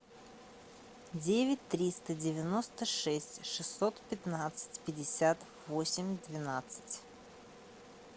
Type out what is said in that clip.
девять триста девяносто шесть шестьсот пятнадцать пятьдесят восемь двенадцать